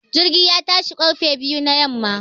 Jirgin ya tashi ƙarfe huɗu na yamma.